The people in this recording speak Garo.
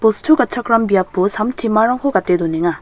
bostu gatchakram biapo sam timarangko gate donenga.